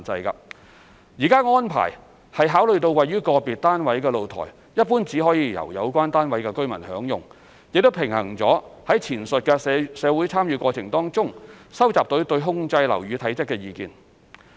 現時的安排，是考慮了位於個別單位的露台一般只可由有關單位的居民享用，亦平衡了於前述社會參與過程中收集到對控制樓宇體積的意見。